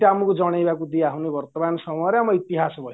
ଏତେ ଆମକୁ ଜଣେଇବାକୁ ଦିଆହଉନି ବର୍ତମାନ ସମୟରେ ଆମ ଇତିହାସ ବହିରେ